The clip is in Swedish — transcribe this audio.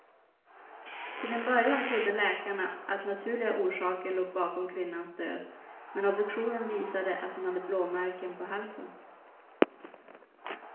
Till en början trodde läkarna att naturliga orsaker låg bakom kvinnans död, men obduktionen visade att hon hade blåmärken på halsen.